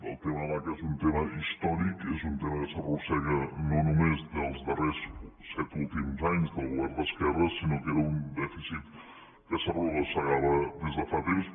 el tema de l’aca és un tema històric és un tema que s’arrossega no només dels darrers set últims anys del govern d’esquerres sinó que era un dèficit que s’arrossegava des de fa temps